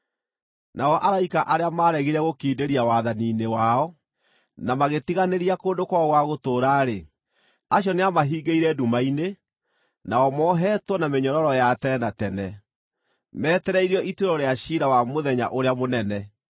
Nao araika arĩa maaregire gũkindĩria wathani-inĩ wao na magĩtiganĩria kũndũ kwao gwa gũtũũra-rĩ, acio nĩamahingĩire nduma-inĩ, nao moheetwo na mĩnyororo ya tene na tene metereirio ituĩro rĩa ciira wa Mũthenya ũrĩa mũnene.